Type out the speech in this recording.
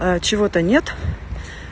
чего-то нет